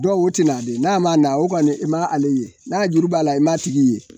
Dɔw o tina de n'a mana o kɔni i ma ale ye, n'a ye juru b'a la, i m'a tigi ye